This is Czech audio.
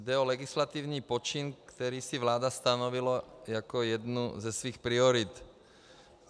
Jde o legislativní počin, který si vláda stanovila jako jednu ze svých priorit.